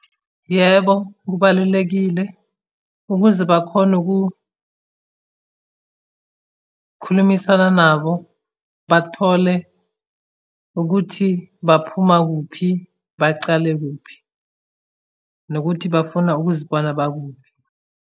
Yebo, kubalulekile ukuze bakhone ukukhulumisana nabo bathole ukuthi baphuma kuphi, bacale kuphi, nokuthi bafuna ukuzibona bakuphi.